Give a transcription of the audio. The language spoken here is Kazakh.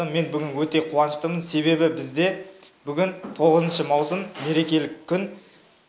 мен бүгін өте қуаныштымын себебі бізде бүгін тоғызыншы маусым мерекелік күн